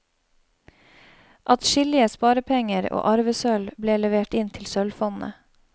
Atskillige sparepenger og arvesølv ble levert inn til sølvfondet.